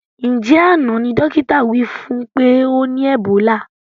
Njẹ àná ní dókítà wí fún pé ọ ní ẹ̀bólà?